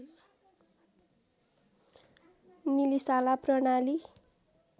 निलिशाला प्रणाली